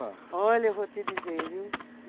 olha, eu vou te dizer, viu?